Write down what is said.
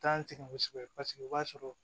T'an sɛgɛn kosɛbɛ paseke o b'a sɔrɔ